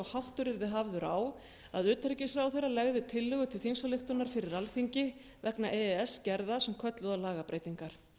háttur yrði hafður á að utanríkisráðherra legði tillögu til þingsályktunar fyrir alþingi vegna e e s gerða sem kölluðu á lagabreytingar